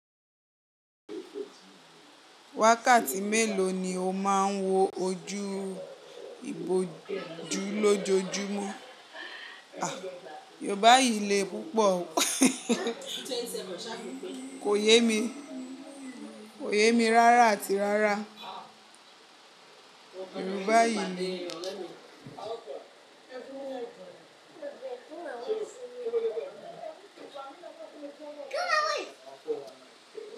Wákàtí mélòó ni ó máa ń wo ojú ibojú lójoojúmọ́? Yorùbá yìí le púpọ̀ o. Kò yé mi, kò yé mi rárá àti rárá. Yorùbá yìí le.